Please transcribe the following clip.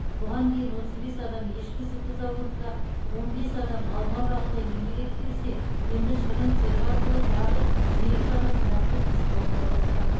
бұған дейін отыз бес адам ешкі сүті зауытында он бес адам алма бағында еңбек етіп келсе енді шырын цехы арқылы тағы сегіз адам тұрақты жұмысқа орналасқан